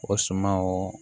O suma o